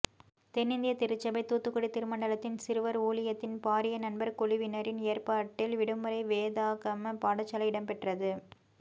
தென்னிந்திய திருச்சபை தூத்துக்குடி திருமண்டலத்தின் சிறுவர் ஊழியத்தின் பாரியநண்பர் குழுவினரின் ஏற்பாட்டில் விடுமுறை வேதாகம பாடசாலை இடம்பெற்றது